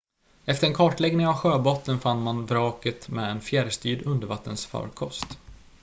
efter en kartläggning av sjöbotten fann man vraket med en fjärrstyrd undervattensfarkost